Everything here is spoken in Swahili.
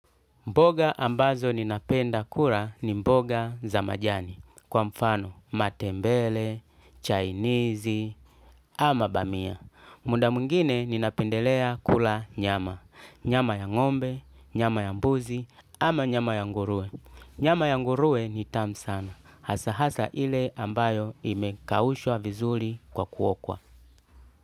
Mboga ambazo ninapenda kura ni mboga za majani kwa mfano matembele, chainizi ama bamia. Muda mwingine ninapendelea kula nyama. Nyama ya ngombe, nyama ya mbuzi ama nyama ya ngurue. Nyama ya ngurue ni tamu sana hasa hasa ile ambayo imekawushwa vizuli kwa kuokwa.